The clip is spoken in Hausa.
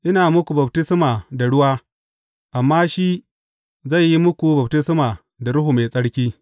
Ina muku baftisma da ruwa, amma shi zai yi muku baftisma da Ruhu Mai Tsarki.